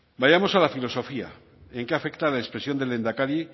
vayamos a la filosofía en qué afecta la expresión del lehendakari